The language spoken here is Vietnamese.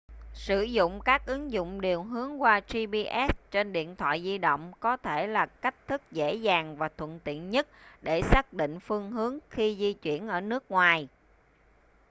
sử dụng các ứng dụng điều hướng qua gps trên điện thoại di động có thể là cách thức dễ dàng và thuận tiện nhất để xác định phương hướng khi di chuyển ở nước ngoài